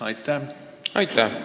Aitäh!